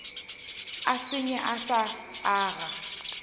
e senye e sa aga